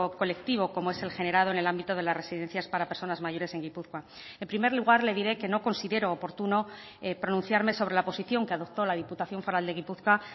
colectivo como es el generado en el ámbito de las residencias para personas mayores en gipuzkoa en primer lugar le diré que no considero oportuno pronunciarme sobre la posición que adoptó la diputación foral de gipuzkoa